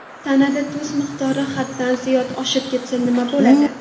Tanada tuz miqdori haddan ziyod oshib ketsa nima bo‘ladi?.